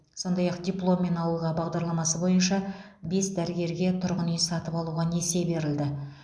сондай ақ дипломмен ауылға бағдарламасы бойынша бес дәрігерге тұрғын үй сатып алуға несие берілді